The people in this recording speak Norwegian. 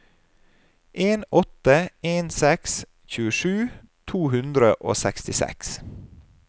en åtte en seks tjuesju to hundre og sekstiseks